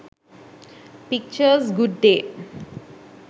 pictures good day